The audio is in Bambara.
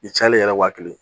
I cayalen ye wa kelen